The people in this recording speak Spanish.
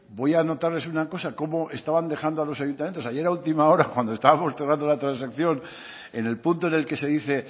voy a anotarles una cosa cómo estaban dejando a los ayuntamientos ayer a última hora cuando estábamos tratando la transacción en el punto en el que se dice